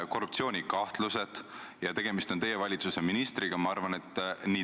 Küsimus nr 3 on Hanno Pevkurilt ja vastab rahandusminister Martin Helme.